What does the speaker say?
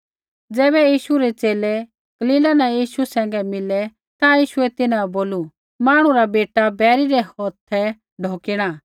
ज़ैबै यीशु रै च़ेले गलीला न यीशु सैंघै मिलै ता यीशुऐ तिन्हां बै बोलू मांहणु रा बेटा बैरी रै हौथा ढौकिणा